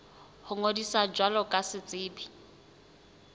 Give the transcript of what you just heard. ho ngodisa jwalo ka setsebi